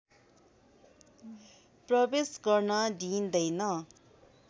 प्रवेश गर्न दिइँदैन